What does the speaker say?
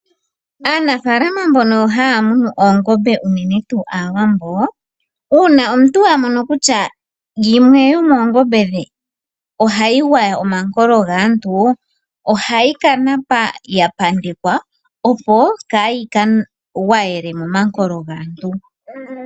Aanafalama mbono haya munu oongombe unene tuu aawambo. Una omuntu a mono kutya yimwe yomo oongombe dhe ohayi gwaya omankolo gaantu, ohayi ka napa yapandekwa. Opo kayika gwayele momankolo gaantu.